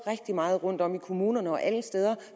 rigtig meget rundt om i kommunerne og alle steder